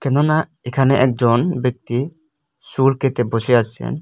এখানে একজন ব্যক্তি চুল কেটে বসে আছেন।